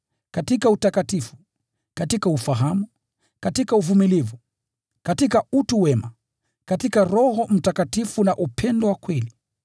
katika utakatifu, katika ufahamu, katika uvumilivu, na katika utu wema; katika Roho Mtakatifu na upendo wa kweli;